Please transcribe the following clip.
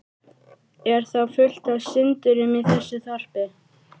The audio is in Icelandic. Er þá fullt af syndurum í þessu þorpi?